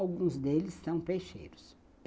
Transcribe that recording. Alguns deles são peixeiros.